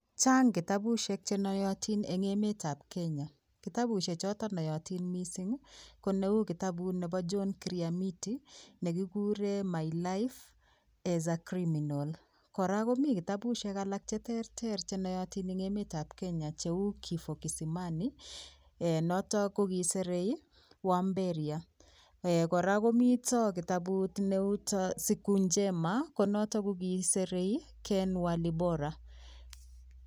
Chang kitabusiek chenoyotin eng emetab Kenya. Kitabusiek choto noyotin mising koneu kitabut nebo John Kiriamiti, negikuren My Life As A Criminal. Kora komi kitabusiek alak cheterter chenoyotin eng emetab Kenya cheu Kifo Kisimani, ee notok ko kisirei Wamberia. Ee kora ko mito kitabut neu, Siku Njema, konotok kokisirei Ken Walibora.